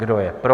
Kdo je pro?